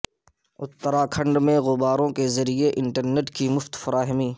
اتراکھنڈ میں غباروں کے ذریعے انٹرنیٹ کی مفت فراہمی